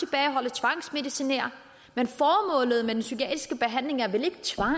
tvangsmedicinere men formålet med den psykiatriske behandling er vel ikke tvang